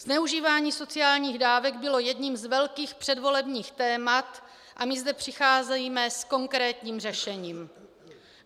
Zneužívání sociálních dávek bylo jedním z velkých předvolebních témat a my zde přicházíme s konkrétním řešením.